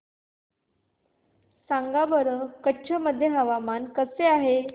सांगा बरं कच्छ मध्ये हवामान कसे आहे